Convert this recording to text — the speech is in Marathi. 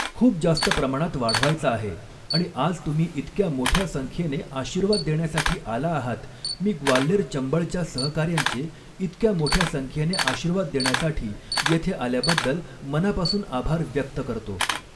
खूप जास्त प्रमाणात वाढवायचा आहे आणि आज तुम्ही इतक्या मोठ्या संख्येने आशीर्वाद देण्यासाठी आला आहात मी ग्वाल्हेर चबंळच्या सहकाऱ्यांचे इतक्या मोठ्या संख्येने आशीर्वाद देण्यासाठी येथे आल्याबद्दल मनापासून आभार व्यक्त करतो.